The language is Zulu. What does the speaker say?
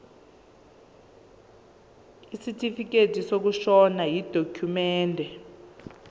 isitifikedi sokushona yidokhumende